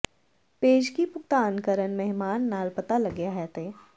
ਪੇਸ਼ਗੀ ਭੁਗਤਾਨ ਕਰਨ ਮਹਿਮਾਨ ਨਾਲ ਪਤਾ ਲੱਗਿਆ ਹੈ ਤੇ